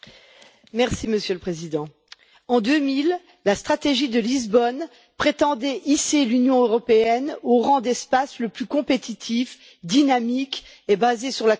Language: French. Monsieur le Président, en 2000, la stratégie de Lisbonne prétendait hisser l'Union européenne au rang d'espace le plus compétitif, dynamique et basé sur la connaissance.